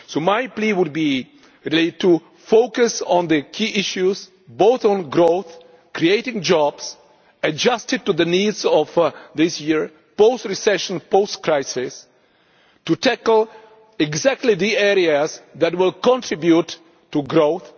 So my plea would be to focus on the key issues, both on growth and creating jobs, adjusted to the needs of this year post recession, post crisis to tackle exactly the areas that will contribute to growth.